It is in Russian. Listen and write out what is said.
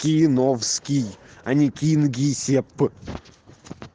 киновский а не кингисепп